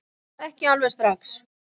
Ekki alveg strax